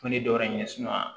Ko ni dɔ wɛrɛ ye